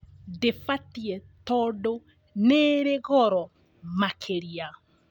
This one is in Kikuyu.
Ndĩbatie tondũ nĩrĩ goro makĩria